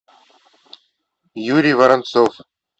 юрий воронцов